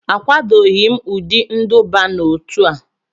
Akwadoghị m ụdị nduba n'otu a